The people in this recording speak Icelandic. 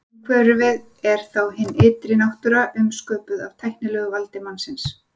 Umhverfið er þá hin ytri náttúra umsköpuð af tæknilegu valdi mannsins.